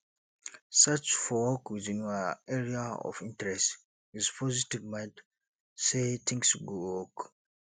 search for work within your area of interest with positve mind sey things go work